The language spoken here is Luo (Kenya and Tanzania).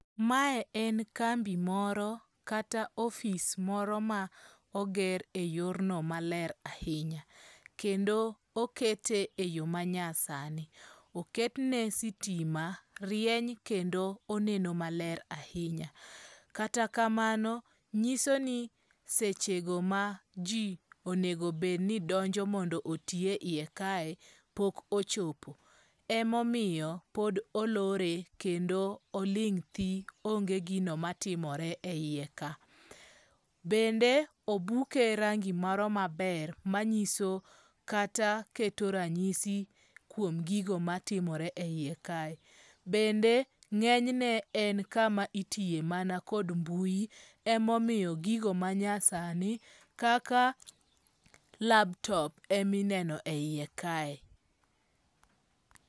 Mae en kambi moro kata ofice moro ma oger eyor no maler ahinya kendo okete e yoo manyasani. Oketne sitima rieny kendo oneno maler ahinya. Kata kamano, nyiso ni sechego ma Ijii onego bed ni donjo mondo oti eiye kae pok ochopo emomiyo pod olore kendo oling' thii onge gino matimore e iye ka. Bende obuke rangi moro maber manyiso kata keto ranyisi kuom gigo matimore eiye kae. Bende ng'enyne en kama itiye kod mbui emomiyo gigo manya sani kaka laptop emineno e iye kae.